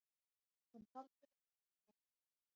Hann taldi það tryggara.